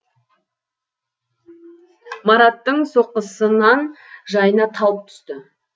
маратттың соққысынан жайна талып түсті